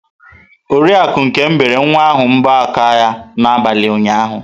Oriakụ Nkem bere nwa ahụ mbọ aka ya n'abalị ụnyahụ.